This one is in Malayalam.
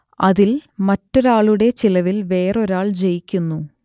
അതിൽ മറ്റൊരാളുടെ ചിലവിൽ വേറൊരാൾ ജയിക്കുന്നു